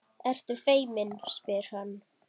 Ertu feimin, spyr hann.